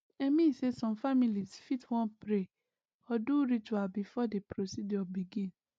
i mean say some families fit wan pray or do ritual before the procedure begin